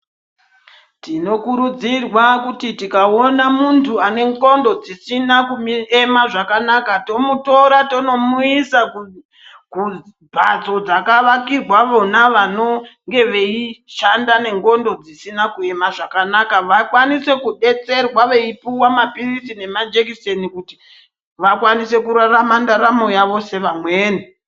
Tinokurudzirwa kuti tikaona muntu anendxondo dzisina kuema zvakanaka tomutora tonomuisa kumhatso dzakavakirwa vona vanonge veishanda nendxondo dzisina kuema zvakanaka. Vakwanise kubetserwa vai puva maphirizi nemajekiseni kuti vakwanise kurarama ndaramo yavo sevamweni.